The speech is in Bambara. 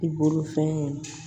I bolofɛn